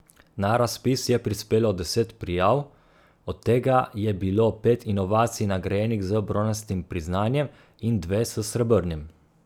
Na razpis je prispelo deset prijav, od tega je bilo pet inovacij nagrajenih z bronastim priznanjem in dve s srebrnim.